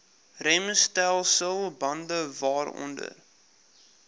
remstelsel bande waaronder